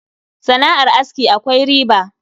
Sana'ar aski akwai riba